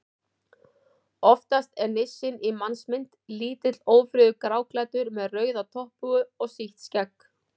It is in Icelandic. Oftast er nissinn í mannsmynd: Lítill, ófríður, gráklæddur með rauða topphúfu og sítt skegg.